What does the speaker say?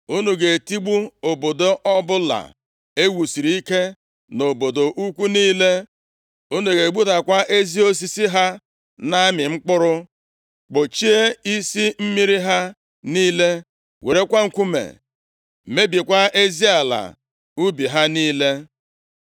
Unu ga-etigbu obodo ọbụla e wusiri ike, na obodo ukwu niile. Unu ga-egbudakwa ezi osisi ha na-amị mkpụrụ, kpọchie isi mmiri ha niile, werekwa nkume mebikwaa ezi ala ubi ha niile.”